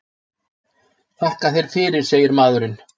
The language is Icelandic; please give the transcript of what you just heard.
Þakka þér fyrir, segir maðurinn.